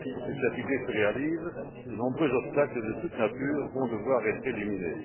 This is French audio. Pour que cette idée se réalise, de nombreux obstacles de toute nature vont devoir être éliminés.